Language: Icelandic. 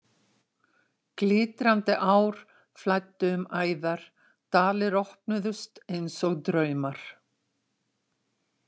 Glitrandi ár flæddu um æðar, dalir opnuðust einsog draumar.